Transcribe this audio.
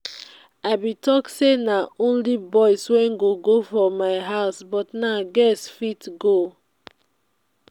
i bin talk say na only boys wey go go for my house but now girls fit go